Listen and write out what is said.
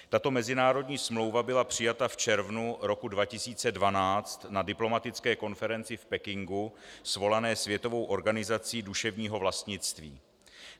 Tato mezinárodní smlouva byla přijata v červnu roku 2012 na diplomatické konferenci v Pekingu svolané Světovou organizací duševního vlastnictví.